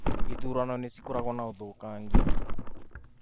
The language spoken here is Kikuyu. Īthurano nĩ cikoragwo na ũthũkangia